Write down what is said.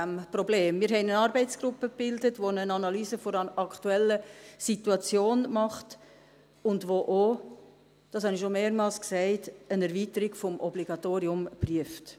Wir haben eine Arbeitsgruppe gebildet, die eine Analyse der aktuellen Situation macht und die auch – das habe ich schon mehrfach gesagt – eine Erweiterung des Obligatoriums prüft.